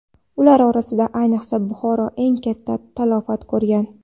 Ular orasida ayniqsa Buxoro eng katta talafot ko‘rgan.